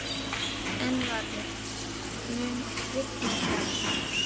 Einvarður, mun rigna í dag?